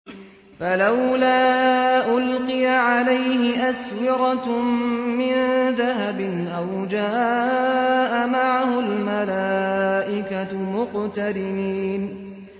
فَلَوْلَا أُلْقِيَ عَلَيْهِ أَسْوِرَةٌ مِّن ذَهَبٍ أَوْ جَاءَ مَعَهُ الْمَلَائِكَةُ مُقْتَرِنِينَ